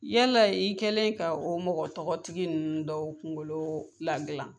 Yala i kɛlen ka o mɔgɔ tɔgɔ tigi ninnu dɔw kungolo lagilan.